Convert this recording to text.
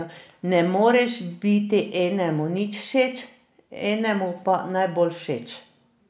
Ne moreš biti enemu nič všeč, enemu pa najbolj všeč.